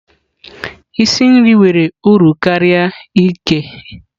Isi nri nwere uru karịa ighe.